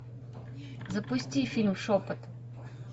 запусти фильм шепот